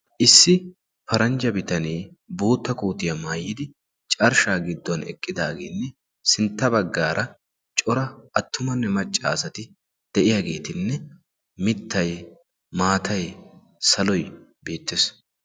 issi paranjja bitanee bootta kootiyaa maayidi carshshaa giddon eqqidaagenne sintta baggaara cora attumanne maccaasati de7iyaageetinne mittay, maatay, saloy beettees.